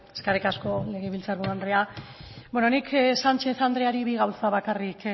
eskerrik asko legebiltzar buru andrea nik sánchez andreari bi gauza bakarrik